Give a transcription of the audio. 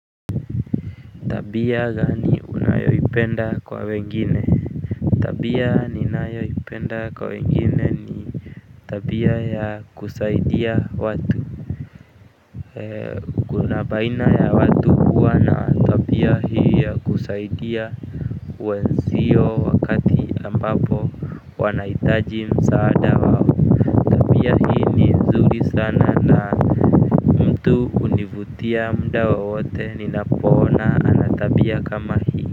Tabia gani unayoipenda kwa wengine. Tabia ninayoipenda kwa wengine ni tabia ya kusaidia watu eee kuna baina ya watu kuwa na tabia hii ya kusaidia wenzio wakati ambapo wanahitaji msaada wao tabia hii ni nzuri sana na mtu hunivutia mda wowote ninapoona ana tabia kama hii.